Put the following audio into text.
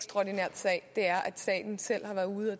så er